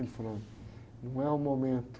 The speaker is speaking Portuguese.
Ele falou, não é o momento.